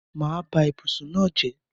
Mà á ba ibùsùn náà jẹ́.